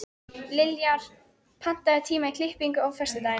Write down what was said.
Liljar, pantaðu tíma í klippingu á föstudaginn.